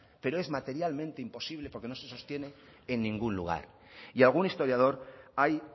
pero es materialmente imposible porque no se sostiene en ningún lugar y algún historiador hay